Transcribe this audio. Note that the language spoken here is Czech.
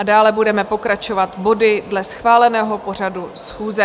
A dále budeme pokračovat body dle schváleného pořadu schůze.